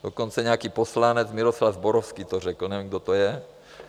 Dokonce nějaký poslanec Miroslav Zborovský to řekl, nevím, kdo to je.